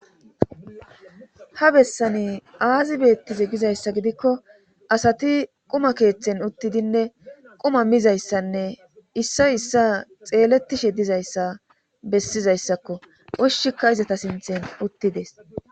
ha bessani aazi beettize gizayssa gidikko asati quma keeththen uttidinne quma mizayssanne issay issa xeeletishe dizayssa bessizayssakko oshshikka izata sinthen uttides